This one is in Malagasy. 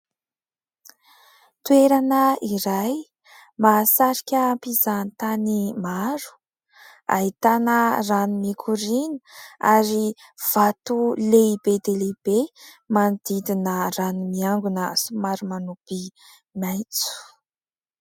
Toerana iray mahasarika mpizahatany maro, ahitana rano mikoriana ary vato lehibe dia lehibe manodidina rano miangona somary manopy maitso.